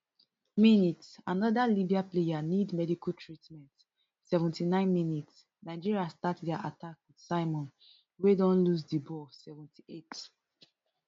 mins anoda libya player need medical treatment seventy-nine minsnigeria start dia attack wit simon wey don lose di ball seventy-eight